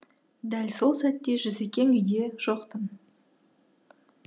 дәл сол сәтте жүсекең үйде жоқ тын